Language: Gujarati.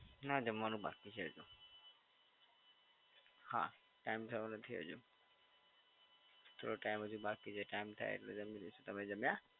ના જમવાનું બાકી છે હજી તો. હા time થયો નથી હજુ. થોડો time હજી બાકી છે એ ટાઈમ થાય એટલે જમી લઈશું, તમે જમ્યા?